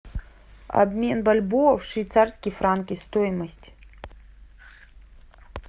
обмен бальбоа в швейцарские франки стоимость